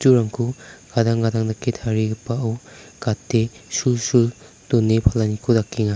gadang gadang dake tarigipao gate sulsul done palaniko dakenga.